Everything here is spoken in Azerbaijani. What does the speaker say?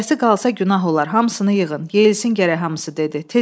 Bircəsi qalsa günah olar, hamısını yığın, yesin gərək hamısı dedi.